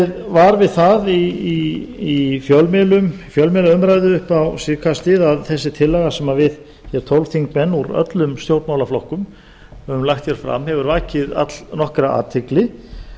var við það í fjölmiðlaumræðu upp á síðkastið að þessi tillaga sem við tólf þingmenn úr öllum stjórnmálaflokkum höfum lagt hér fram hefur vakið allnokkra athygli